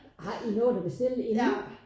Har I nået og bestille inden?